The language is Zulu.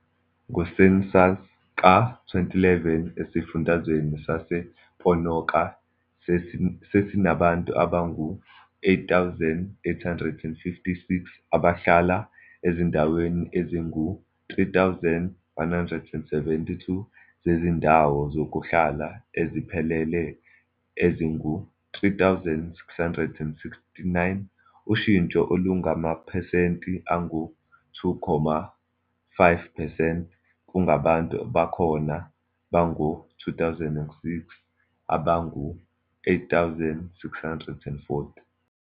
NgoCensus ka- 2011, iSifundazwe sasePonoka sasinabantu abangu-8,856 abahlala ezindaweni ezingu-3,172 zezindawo zokuhlala eziphelele ezingu-3,669, ushintsho olungamaphesenti angu-2.5 percent kubantu bakhona bango-2006 abangu-8,640.